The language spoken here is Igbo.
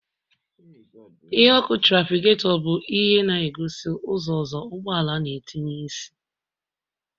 Ìhè ọkụ traficagetor bu ihe na-egosi ụzọ ozo ụgbọala na-etinye isi